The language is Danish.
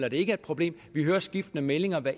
at det ikke er et problem vi hører skiftende meldinger hver